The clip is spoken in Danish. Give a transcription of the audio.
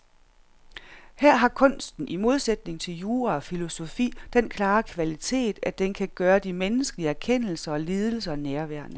Her har kunsten i modsætning til jura og filosofi den klare kvalitet, at den kan gøre de menneskelige erkendelser og lidelser nærværende.